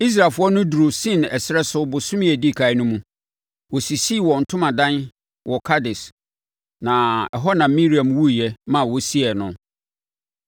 Israelfoɔ no duruu Sin ɛserɛ so bosome a ɛdi ɛkan no mu. Wɔsisii wɔn ntomadan wɔ Kades, na ɛhɔ na Miriam wuiɛ ma wɔsiee no.